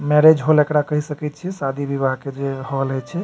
Marriage hall एकरा कह सकय छीये शादी विवाह के जे हॉल हेय छै।